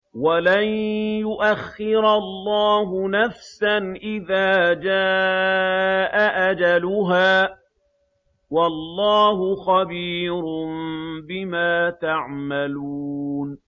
وَلَن يُؤَخِّرَ اللَّهُ نَفْسًا إِذَا جَاءَ أَجَلُهَا ۚ وَاللَّهُ خَبِيرٌ بِمَا تَعْمَلُونَ